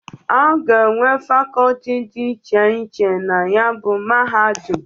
Aga enwe facoti di iche iche na ya bụ mahadum.